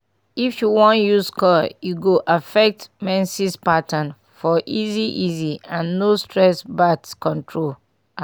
if u wan use coil e go affect menses pattern for easy easy and no stress birth control ah